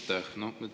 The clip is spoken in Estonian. Aitäh!